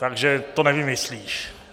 Takže to nevymyslíš.